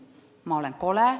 Ma olen kole.